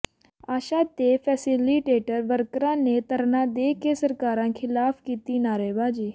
ਆਸ਼ਾ ਤੇ ਫੈਸਿਲੀਟੇਟਰ ਵਰਕਰਾਂ ਨੇ ਧਰਨਾ ਦੇ ਕੇ ਸਰਕਾਰਾਂ ਖਿਲਾਫ਼ ਕੀਤੀ ਨਾਅਰੇਬਾਜ਼ੀ